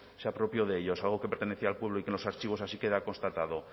se apropió de ellos algo que pertenecía al pueblo y que en los archivos así queda constatado